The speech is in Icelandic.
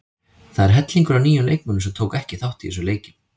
Það er hellingur af nýjum leikmönnum sem tóku ekki þátt í þessum leikjum.